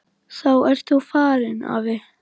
Þá ert þú farinn, afi.